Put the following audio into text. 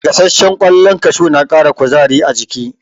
Gasashshen kwallon kashu na kara kuzari a jiki